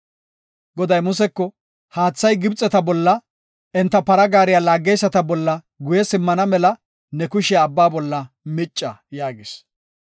Goday Museko, “Haathay Gibxeta bolla, enta para gaareta bollanne enta para gaariya laageyisata bolla guye simmana mela ne kushiya Abbaa bolla micca” yaagis. Paranne para gaare